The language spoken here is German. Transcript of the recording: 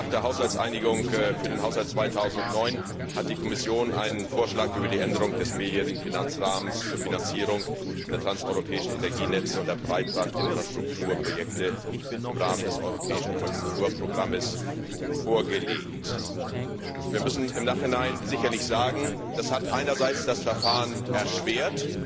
Direkt nach der Einigung für den Haushalt 2009 hat die Kommission einen Vorschlag über die Änderung des mehrjährigen Finanzrahmens zur Finanzierung der transeuropäischen Energienetze und der Breitbandinfrastrukturprojekte im Rahmen des europäischen Konjunkturprogramms vorgelegt. Wir müssen im Nachhinein sicherlich sagen Das hat einerseits das Verfahren erschwert,